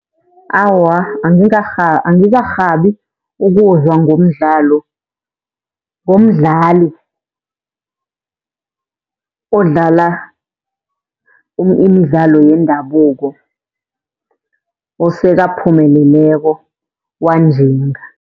Awa, angikarhabi ukuzwa ngomdlalo, ngomdlali odlala imidlalo yendabuko osekaphumeleleko wanjinga.